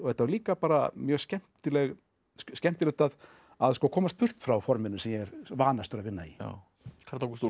og líka bara mjög skemmtilegt skemmtilegt að að komast burt frá forminu sem ég er vanastur að vinna í Karl Ágúst Úlfsson